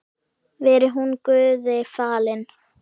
Veri hún Guði falin.